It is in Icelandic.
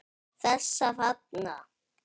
Þessa þarna!